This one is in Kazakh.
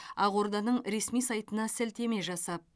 ақорданың ресми сайтына сілтеме жасап